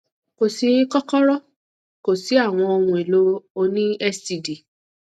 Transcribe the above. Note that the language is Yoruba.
ko si kokoro ko si awọn ohun elo o ni std